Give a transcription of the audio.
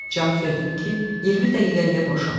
Cavab verdim ki, 20 dəqiqəliyə boşam.